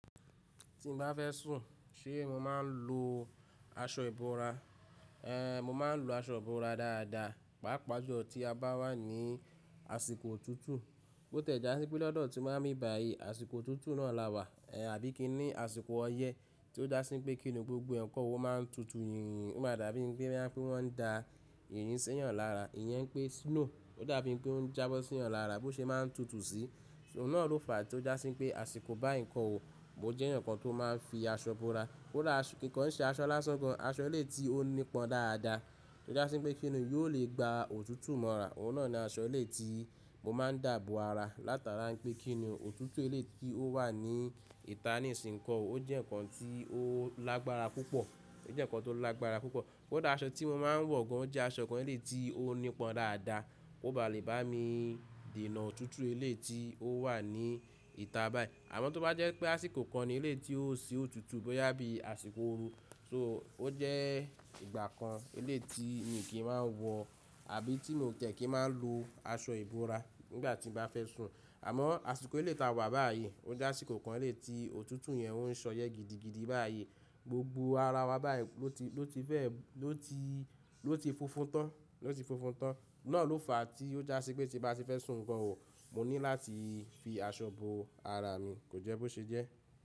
Tí mo bá fẹ́ sùn, ṣe mo máa ń lo aṣọ ìbora? Ehn, mo máa ń lo aṣọ ìbora dáadáa, pàápàá ju ọ̀ tí a bá wà ní àsìkò tutù. Ó tẹ̀já sí pé lọ́dọ̀ tí mo bá ti bà yìí àsìkò tutù náà láwà, eh àbí kí í ní àsìkò ọyẹ́ tí ó dá sí pé kí ni gbogbo ǹkan owó máa ń tutù yínyìn, ó máa dàbí ẹgbẹ́ rán pé wọ́n ń da yìnyín sẹ́yàn lára. Ìyẹn pé snow ó dàbí pé ó ń jábọ́ sí ọ̀ lára bó ṣe máa ń tutù sí. Òun náà ló fàá tí ó dá sí pé àsìkò bá ǹkan òwò, mo jẹ́ ǹkan tó máa ń fi aṣọ ìbora. Ó dà kankan ṣe aṣọ lásán kan, aṣọ ilé tí ó nípọn dáadáa tí ó dá sí pé kí ni yóò lè gba òtútù mọ́ra. Òun náà ni aṣọ ilé tí mo máa ń dàbọ̀ ara látara pé kí ni òtútù ilé tí ó wà ní ìta ní ìsìnǹkan, ó jẹ́ ǹkan tí ó lágbára púpọ̀. Ó jẹ́ ǹkan tó lágbára púpọ̀. Ko dà aṣọ tí mo máa ń wọ̀ gan, ó jẹ́ aṣọ kan ilé tí ó nípọn dáadáa. Ó bá lè bá mi dènà òtútù ilé tí ó wà ní ìta báyìí. Àmọ́ tó bá jẹ́ pé àsìkò kan ni ilé tí ó ṣe òtútù bó yá bí àsìkò ooru, so ó jẹ́ ìgbà kan ilé tí mi kì í máa ń wọ̀ àbí tí mo tẹ̀ kí ń máa lo aṣọ ìbora nígbà tí mo bá fẹ́ sùn. Àmọ́ àsìkò ilé tá wà báyìí, ó jásìkò kan ilé tí òtútù yẹn ń ṣọyẹ́ gidigidi báyìí. Gbogbo ara wa báyìí ló ti, ló ti fẹ́, ló ti, ló ti fófún tán, ló ti fófún tán. Náà ló fàá tí ó já sí pé tí bá ti fẹ́ sùn ǹkan òwò, mo ní láti fi aṣọ bo ara mi, kò jẹ́ bó ṣe jẹ́.